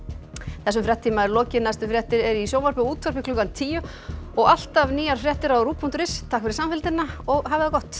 þessum fréttatíma er lokið næstu fréttir eru í sjónvarpi og útvarpi klukkan tíu og alltaf nýjar fréttir á ruv punktur is takk fyrir samfylgdina og hafið það gott